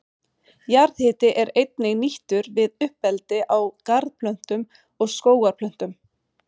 Jarðhiti er einnig nýttur við uppeldi á garðplöntum og skógarplöntum.